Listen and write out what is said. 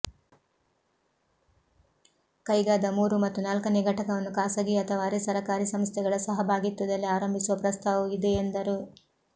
ಕೈಗಾದ ಮೂರು ಮತ್ತು ನಾಲ್ಕನೇ ಘಟಕವನ್ನು ಖಾಸಗೀ ಅಥವಾ ಅರೆ ಸರಕಾರಿ ಸಂಸ್ಥೆಗಳ ಸಹಭಾಗಿತ್ವದಲ್ಲಿ ಆರಂಭಿಸುವ ಪ್ರಸ್ತಾವವೂ ಇದೆ ಎಂದರು